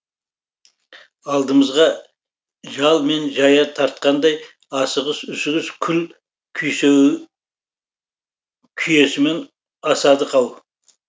алдымызға жал мен жая тартқандай асығыс үсігіс күл күйесімен асадық ау